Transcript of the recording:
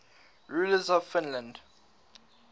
rulers of finland